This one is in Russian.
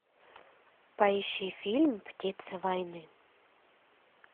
поищи фильм птица войны